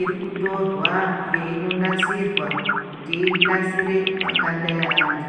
irikutorwa yeinonasirwa kuti inasire makanda e antu.